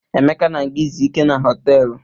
Emeka na-aga izu ike na họtelụ.